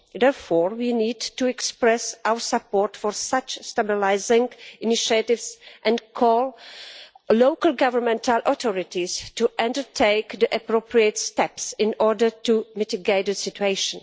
Therefore, we need to express our support for such stabilising initiatives and call on local governmental authorities to undertake the appropriate steps in order to mitigate the situation.